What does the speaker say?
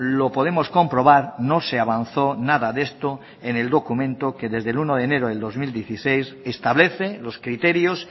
lo podemos comprobar no se avanzó nada de esto en el documento que desde el uno de enero del dos mil dieciséis establece los criterios